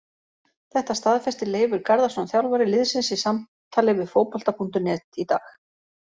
Þetta staðfesti Leifur Garðarsson þjálfari liðsins í samtali við Fótbolta.net í dag.